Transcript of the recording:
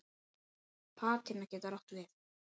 Patína getur átt við